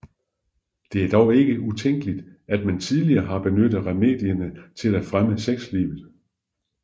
Det er dog ikke utænkeligt at man tidligere har benyttet remedier til at fremme sexlivet